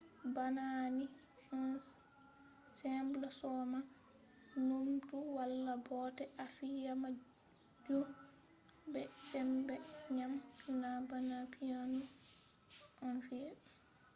bana ni a soman mere. numtu wala bote a fiya majun be sembe ngam na bana piano ɗon fi'e